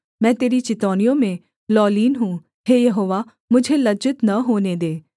मैं तेरी चितौनियों में लौलीन हूँ हे यहोवा मुझे लज्जित न होने दे